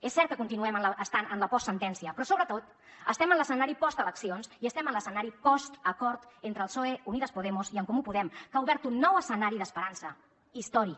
és cert que continuem estant en la postsentència però sobretot estem en l’escenari posteleccions i estem en l’escenari postacord entre el psoe unidas podemos i en comú podem que ha obert un nou escenari d’esperança històric